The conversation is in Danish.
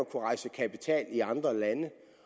kapital i andre lande